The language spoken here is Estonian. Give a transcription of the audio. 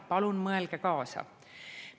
Palun mõelge kaasa!